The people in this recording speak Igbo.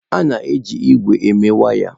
A na-eji ígwè eme waya.